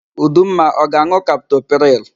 Udumma ọ ga-an̄ụ kaptopril?